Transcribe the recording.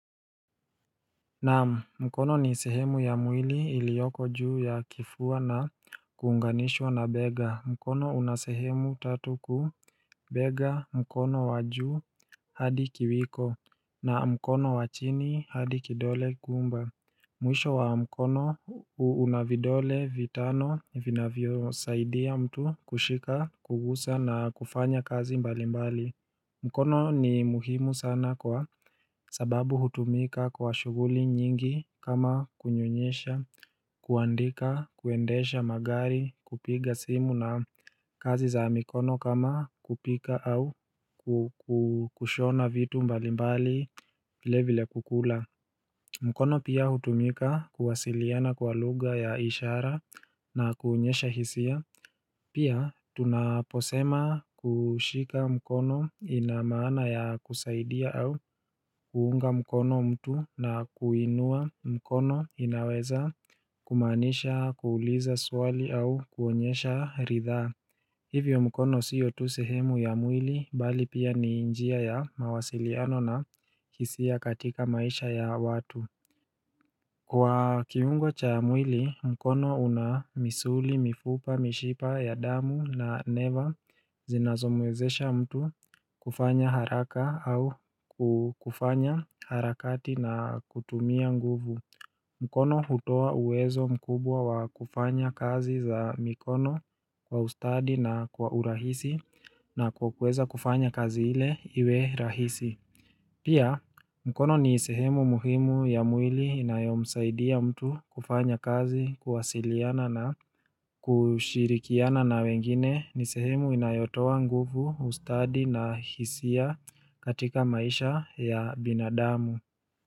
Naam mkono ni sehemu ya mwili iliyoko juu ya kifua na kuunganishwa na bega. Mkono unasehemu tatu kuu bega mkono wa juu hadi kiwiko na mkono wachini hadi kidole gumba. Mwisho wa mkono una vidole vitano vinavyo saidia mtu kushika, kugusa na kufanya kazi mbali mbali. Mkono ni muhimu sana kwa sababu hutumika kwa shughuli nyingi kama kunyonyesha, kuandika, kuendesha magari kupiga simu na kazi za mikono kama kupika au kushona vitu mbalimbali vile vile kukula mkono pia hutumika kuwasiliana kwa lugha ya ishara na kuonyesha hisia Pia tunaposema kushika mkono ina maana ya kusaidia au kuunga mkono mtu na kuinua mkono inaweza kumaanisha kuuliza swali au kuonyesha ridhaa Hivyo mkono sio tu sehemu ya mwili bali pia ni njia ya mawasiliano na kihisia ya katika maisha ya watu Kwa kiungo cha mwili, mkono una misuli, mifupa, mishipa, ya damu na neva zinazomwezesha mtu kufanya haraka au kufanya harakati na kutumia nguvu. Mkono hutoa uwezo mkubwa wa kufanya kazi za mikono kwa ustadi na kwa urahisi na kwa kueza kufanya kazi ile iwe rahisi. Pia, mkono ni sehemu muhimu ya mwili inayomsaidia mtu kufanya kazi, kuwasiliana na kushirikiana na wengine, ni sehemu inayotoa nguvu ustadi na hisia katika maisha ya binadamu.